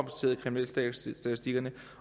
kriminalstatistikkerne